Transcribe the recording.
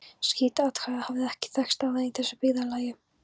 Slíkt athæfi hafði ekki þekkst áður í þessu byggðarlagi.